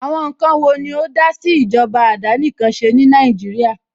Àwọn ǹkan wo ni ó dásí ìjọba àdánìkanṣe ní Nàìjíríà?